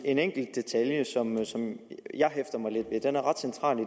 en enkelt detalje som jeg hæfter mig lidt ved den er ret central i